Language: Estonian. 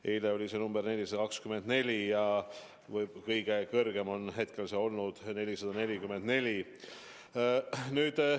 Eile oli see number 424 ja kõige kõrgem näitaja on olnud 444.